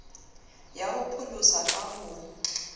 ya ho pholosa ka ho